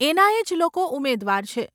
એના એજ લોકો ઉમેદવાર છે.